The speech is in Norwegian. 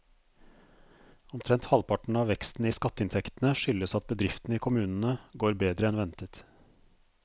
Omtrent halvparten av veksten i skatteinntektene skyldes at bedriftene i kommunene går bedre enn ventet.